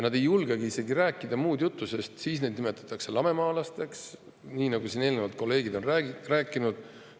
Nad ei julgegi isegi rääkida muud juttu, sest siis neid nimetatakse lamemaalasteks, nii nagu eelnevalt kolleegid on rääkinud.